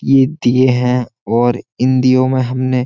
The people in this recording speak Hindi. ये दिये हैं और इन दियों में हमने --